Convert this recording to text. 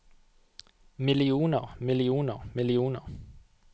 millioner millioner millioner